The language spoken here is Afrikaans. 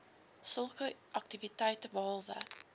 sulke aktiwiteite behalwe